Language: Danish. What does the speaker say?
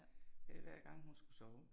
Hver gang hun skulle sove